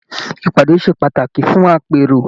Ìpàdé ṣe pàtàkì fún àpérò.